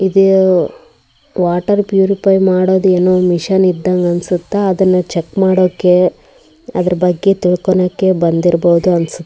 ಇದೆ water purify ಮಾಡೋದ್ ಏನೋ ಮಷೀನ್ ಇದ್ದಂಗ ಅನ್ಸುತ್ತೆ ಅದನ್ನ ಚೆಕ್ ಮಾಡೋಕೆ ಅದರ ಬಗ್ಗೆ ತಿಳ್ಕೊಳ್ಳೋಕೆ ಬಂದಿರಬಹುದು ಅನ್ಸುತ್ತೆ.